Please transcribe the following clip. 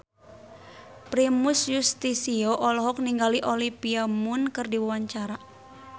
Primus Yustisio olohok ningali Olivia Munn keur diwawancara